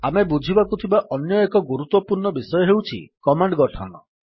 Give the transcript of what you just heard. ଆମେ ବୁଝିବାକୁ ଥିବା ଅନ୍ୟ ଏକ ଗୁରୁତ୍ୱପୂର୍ଣ୍ଣ ବିଷୟ ହେଉଛି କମାଣ୍ଡ୍ ଗଠନ